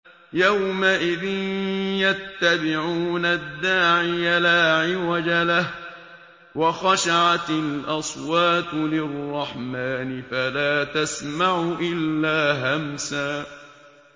يَوْمَئِذٍ يَتَّبِعُونَ الدَّاعِيَ لَا عِوَجَ لَهُ ۖ وَخَشَعَتِ الْأَصْوَاتُ لِلرَّحْمَٰنِ فَلَا تَسْمَعُ إِلَّا هَمْسًا